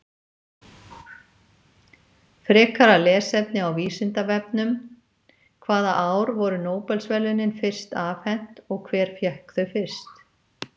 Frekara lesefni á Vísindavefnum: Hvaða ár voru Nóbelsverðlaunin fyrst afhent og hver fékk þau fyrst?